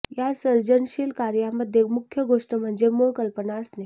या सर्जनशील कार्यामध्ये मुख्य गोष्ट म्हणजे मूळ कल्पना असणे